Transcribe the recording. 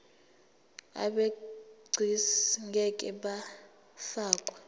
abegcis ngeke bafakwa